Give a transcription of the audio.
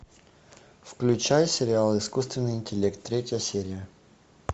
включай сериал искусственный интеллект третья серия